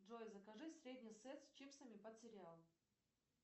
джой закажи средний сет с чипсами под сериал